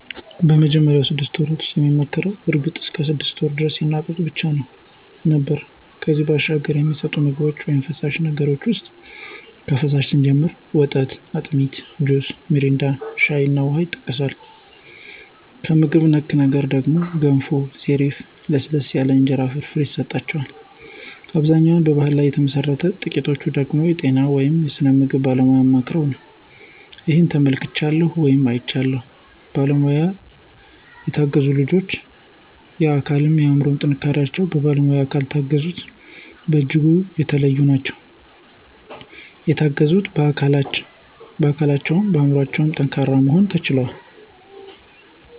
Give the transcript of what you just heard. በመጀመሪያው ስድስት ወራት ውስጥ የሚመከረው እርግጥ እስከ ሰድስት ወራት ደረስ የእናት ጡት ብቻ ነው ነበር ከዚያ ባሻገር የሚሰጠቸው ምግብ ውይም ፈሳሽ ነገር ውሰጥ ከፈሳሹ ስንጀምር ወተት፣ አጢሚት፣ ጁስ ሚሪንዳ፣ ሻይ እና ውሃ ይሰጠዋል። ከምግብ ነክ ነገር ደግሞ ገንፎ፣ ሰሪፍ፣ ለስለስ ያሉ የእንጀራ ፍርፍር ይሰጠዋል። አብዛኛው በባሕል ላይ ተመሠረተ ነው ጥቂቶቹ ደገሞ የጤና ወይም የስነ ምግብ ባለሙያ አማክረው ነው። ይህን ተመልክቻለሁ ወይም አይቻለሁም። በባለሙያ የተገዙት ልጆች የአካል እና የአምሮ ጥንካሪቸው በባለሙያ ካልታገዙት በጅጉ የተለዩ ናቸው። የተገዙት በአካለቸውም በአምሮቸው የጠንከሩ መሆናቸውን ተመልክቻለሁ።